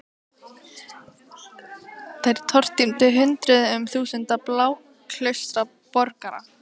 Þær tortímdu hundruðum þúsunda blásaklausra borgara.